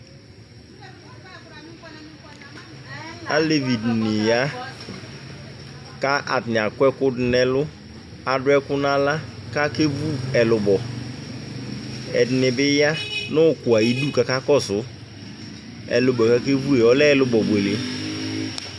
alevi dɩnɩ ya kʊ atanɩ akɔ ɛkudu nʊ ɛlʊ, adʊ ɛkuɛdi naɣla kakevu ɛlubɔ, ɛdɩnɩ bɩ ya nʊ ʊkpɔ yɛ ayidu kakakɔsu, ɛlʊbɔ yɛ kakevu yɛ lɛ ɛlubɔ buele